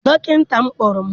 Dọkịta m kpọrọ m.